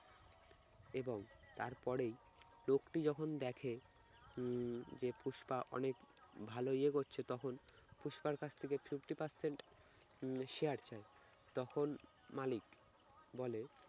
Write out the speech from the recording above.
এবং তারপরেই লোকটি যখন দেখে উম যে পুষ্পা অনেক ভালো ইয়ে করছে তখন পুষ্পার কাছ থেকে fifty percent উম share চায় তখন মালিক বলে